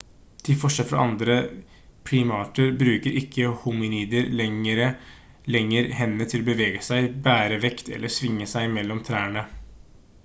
til forskjell fra andre primater bruker ikke hominider lenger hendene til å bevege seg bære vekt eller svinge seg mellom trærne